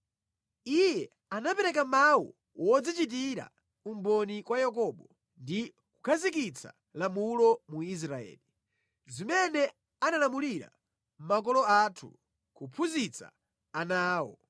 Iye anapereka mawu wodzichitira umboni kwa Yakobo ndi kukhazikitsa lamulo mu Israeli, zimene analamulira makolo athu kuphunzitsa ana awo,